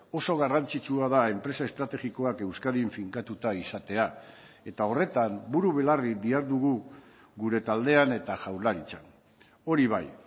oso garrantzitsua da enpresa estrategikoak euskadin finkatuta izatea eta horretan buru belarri dihardugu gure taldean eta jaurlaritzan hori bai